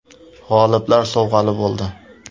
G‘oliblar sovg‘ali bo‘ldi.